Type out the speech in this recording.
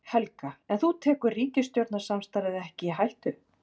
Helga: En þú tekur ríkisstjórnarsamstarfið ekki í hættu?